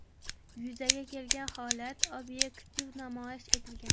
Yuzaga kelgan holat obyektiv namoyish etilgan.